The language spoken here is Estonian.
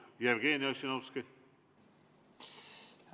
Jevgeni Ossinovski!